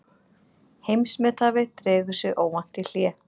Heimsmethafi dregur sig óvænt í hlé